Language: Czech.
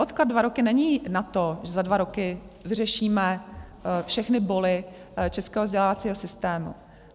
Odklad dva roky není na to, že za dva roky vyřešíme všechny boly českého vzdělávacího systému.